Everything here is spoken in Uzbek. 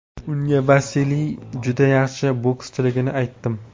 Unga Vasiliy juda yaxshi bokschiligini aytdim.